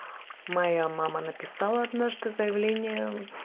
моя мама написала однажды заявление